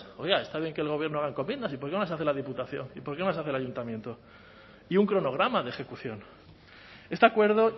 oiga está bien que el gobierno haga encomiendas y por qué las hace la diputación y por qué no las hace el ayuntamiento y un cronograma de ejecución este acuerdo